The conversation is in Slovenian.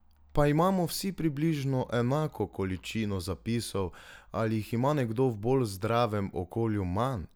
Pa imamo vsi približno enako količino zapisov ali jih ima nekdo v bolj zdravem okolju manj?